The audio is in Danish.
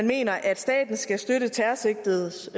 mener at staten skal støtte terrorsigtedes